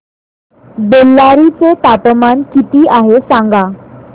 बेल्लारी चे तापमान किती आहे सांगा